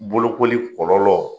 Bolokoli kɔlɔlɔ